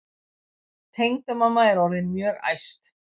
Tengdamamma er orðin mjög æst.